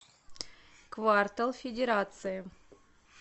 квартал федерация